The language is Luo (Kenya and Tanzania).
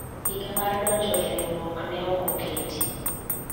higa mar donjro e riwruok ne ok oketi